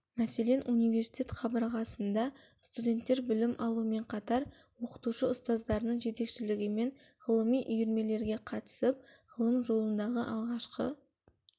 мәселен университет қабырғасында студенттер білім алумен қатар оқытушы ұстаздарының жетекшілігімен ғылыми үйірмелерге қатысып ғылым жолындағы алғашқы